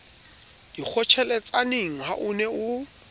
dikgotjheletsaneng ha o ne o